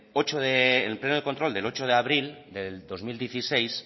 el pleno de control del ocho de abril del dos mil dieciséis